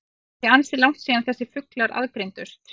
Það er því ansi langt síðan þessir fuglar aðgreindust.